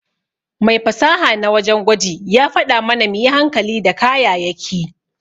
Mai fasaha na wajen gwaji ya faɗa mana muyi hankali da kayayaki.